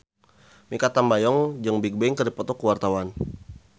Mikha Tambayong jeung Bigbang keur dipoto ku wartawan